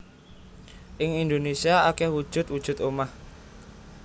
Ing Indonésia akeh wujud wujud omah